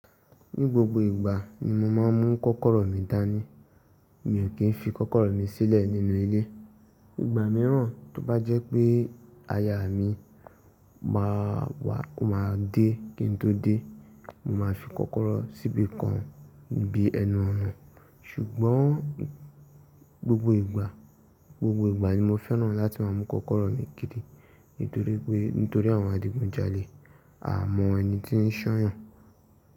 Ní gbogbo ìgbà ni mo máa ń mú kọ́kọ́rọ́ mi dání. Mi ò kí ń fi kọ́kọ́rọ́ mi sílẹ̀ nínú ilé. Ìgbà mìíràn tó bá jẹ́ pé aya mi ma wà, máa dé kí n tó dé, mo máa fi kọ́kọ́rọ́ síbí kan bí ẹnu ọ̀nà. Ṣùgbọ́n, gbogbo ìgbà ni mo fẹ́ràn láti máa mú kọ́kọ́rọ́ mi kiri nítorípé, nítorí àwọn adigunjalè. A mọ ẹni tí ń ṣ'ọọyan.